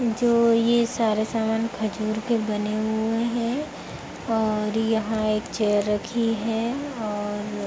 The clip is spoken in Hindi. जो ये सारे सामान खजूर के बने हुए हैं और यहाँ एक चेयर रखी है और --